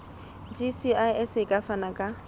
gcis e ka fana ka